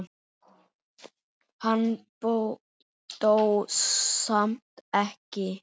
Hann dó samt ekki.